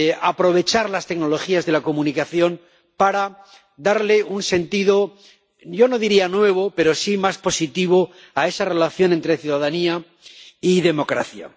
aprovechar las tecnologías de la comunicación para darle un sentido, yo no diría nuevo, pero sí más positivo a esa relación entre ciudadanía y democracia.